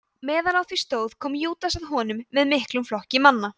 meðan á því stóð kom júdas að honum með miklum flokki manna